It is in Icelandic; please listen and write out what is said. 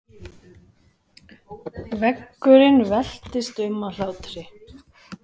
Veggurinn veltist um af hlátri.